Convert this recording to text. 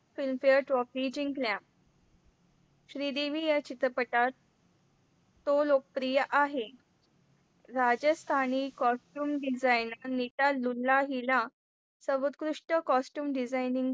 Film Fair Trophy जिंकल्या श्रीदेवी या चित्रपटा तो लोकप्रिय आहे. राजस्थानी Coaster Room Design नि हिला सर्वोत्कृष्ट Coaster Room Design नि